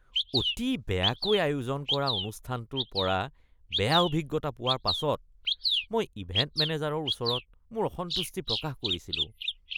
অতি বেয়াকৈ আয়োজন কৰা অনুষ্ঠানটোৰ পৰা বেয়া অভিজ্ঞতা পোৱাৰ পাছত মই ইভেণ্ট মেনেজাৰৰ ওচৰত মোৰ অসন্তুষ্টি প্ৰকাশ কৰিছিলো।